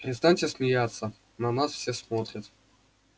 перестаньте смеяться на нас все смотрят